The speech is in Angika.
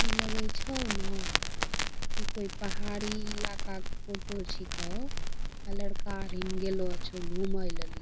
ई लगै छौ ना कि कोय पहाड़ी ईलाका क फोटो छिकौ आ लड़का अरिन गेलो छौ घूमै लेलि।